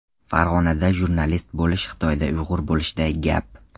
Farg‘onada jurnalist bo‘lish Xitoyda uyg‘ur bo‘lishday gap.